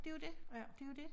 Det jo dét det jo dét